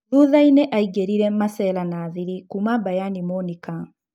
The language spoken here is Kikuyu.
Thuthainĩ aingĩrire Masela na thiirĩ kuna Bayani Monika.